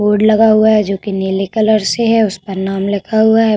Board लगा हुआ है जोकि नीले कलर से है। उस पर नाम लिखा हुआ है।